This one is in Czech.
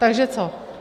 Takže co?